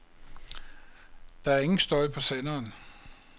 Der er ingen støj på senderen.